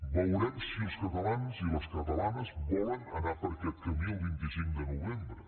veurem si els catalans i les catalanes volen anar per aquest camí el vint cinc de novembre